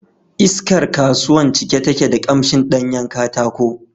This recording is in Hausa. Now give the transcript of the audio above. Iskar kasuwan cike take da ƙamshin ɗanyen katako